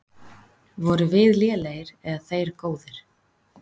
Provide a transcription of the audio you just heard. Vorum við lélegir eða þeir góðir?